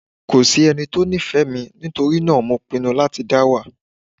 Kò sí ẹni tí ó ní ìfẹ́ mi nítorí náà mo pinu láti dá wà